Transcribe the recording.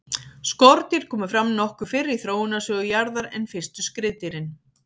skordýr komu fram nokkuð fyrr í þróunarsögu jarðar en fyrstu skriðdýrin